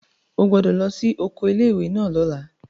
O gbọ́dọ̀ lọ sí oko ilé ìwé náà lọ́la!